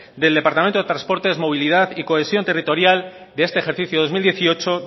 del departamento de transportes movilidad y cohesión territorial de este ejercicio dos mil dieciocho